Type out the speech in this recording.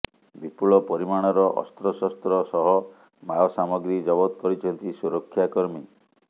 ବିପୁଳ ପରିମାଣର ଅସ୍ତ୍ରଶସ୍ତ୍ର ସହ ମାଓ ସାମଗ୍ରୀ ଜବତ କରିଛନ୍ତି ସୁରକ୍ଷା କର୍ମୀ